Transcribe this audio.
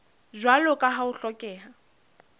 jwalo ka ha ho hlokeha